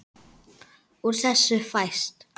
Úr þessu fæst